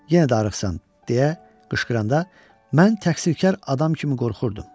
Yenə də arıqsan, deyə qışqıranda mən təqsirkar adam kimi qorxurdum.